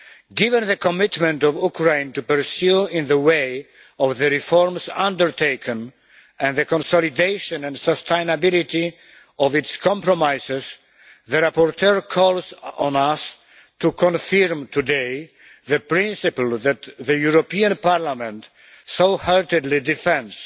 Given the commitment of Ukraine to pursue in the way of the reforms undertaken and the consolidation and sustainability of its compromises, the rapporteur calls on us to confirm today the principle that the European Parliament so heatedly defends